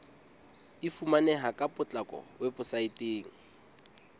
e fumaneha ka potlako weposaeteng